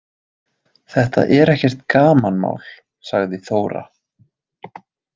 Þetta er ekkert gamanmál, sagði Þóra.